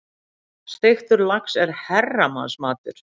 Steiktur lax er herramannsmatur.